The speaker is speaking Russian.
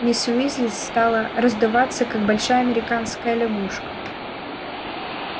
миссис уизли стала раздуваться как большая американская лягушка